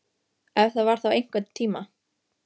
Ef það var þá einhvern tíma.